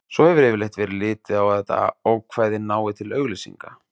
Svo hefur yfirleitt verið litið á að þetta ákvæði nái til auglýsinga.